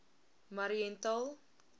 mariental